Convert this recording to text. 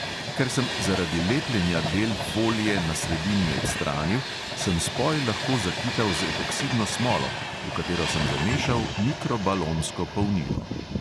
Ker sem zaradi lepljenja del folije na sredini odstranil, sem spoj lahko zakital z epoksidno smolo, v katero sem zamešal mikrobalonsko polnilo.